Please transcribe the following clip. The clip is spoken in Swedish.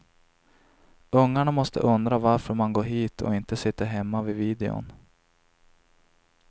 Ungarna måste undra varför man går hit och inte sitter hemma vid videon.